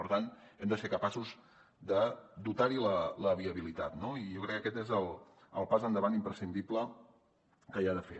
per tant hem de ser capaços de dotar hi la viabilitat no i jo crec que aquest és el pas endavant imprescindible que hi ha de fer